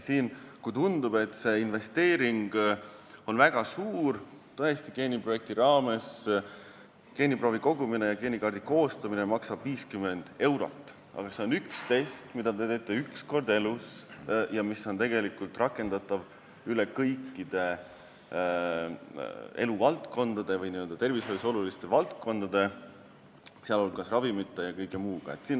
Kuigi tundub, et see investeering on väga suur – tõesti, geeniprojekti raames geeniproovi kogumine ja geenikaardi koostamine maksab 50 eurot –, on see siiski vaid üks test, mida te teete korra elus ja mis on rakendatav kõikides eluvaldkondades, tervishoius olulistes valdkondades, sh seotud ravimite ja kõige muuga.